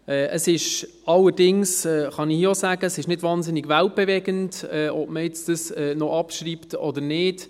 Es ist allerdings – das kann ich hier auch sagen – nicht wahnsinnig weltbewegend, ob man es noch abschreibt oder nicht.